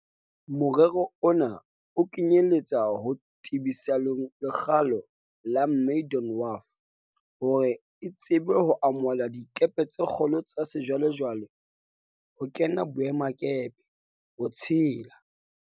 Morero ona o kenyeletsa ho tebisa lekgalo la Maydon Wharf hore e tsebe ho amohela dikepe tse kgolo tsa sejwale-jwale ho kena boemakepe, ho tshela